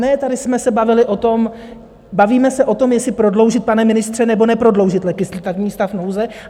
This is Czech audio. Ne, tady jsme se bavili o tom, bavíme se o tom, jestli prodloužit, pane ministře, nebo neprodloužit legislativní stav nouze.